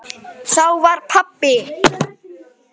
Þá var pabbi.